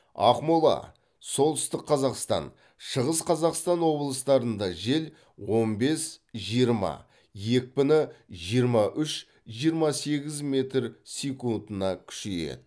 ақмола солтүстік қазақстан шығыс қазақстан облыстарында жел он бес жиырма екпіні жиырма үш жиырма сегіз метр секундына күшейеді